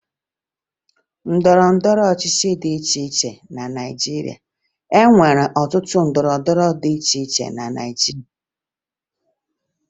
E nwere otu ndọrọndọrọ ọchịchị dị iche iche na Naịjirịa